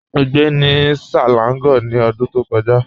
Mọ́ gbẹ́ ni Selangor ni ọ̀dún tó kọja.